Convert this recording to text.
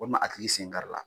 O ma a tigi sen kari la.